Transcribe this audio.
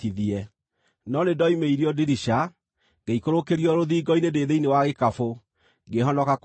No nĩndoimĩirio ndirica, ngĩikũrũkĩrio rũthingo-inĩ ndĩ thĩinĩ wa gĩkabũ, ngĩhonoka kũnyiitwo nĩwe.